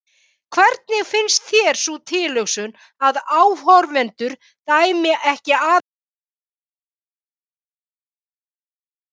Hvernig finnst þér sú tilhugsun að áhorfendur dæmi ekki aðeins leik þinn heldur líka líkama?